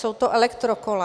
Jsou to elektrokola.